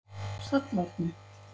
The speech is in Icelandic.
Sæll Árni.